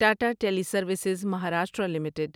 Tata Teleservices Maharashtra limited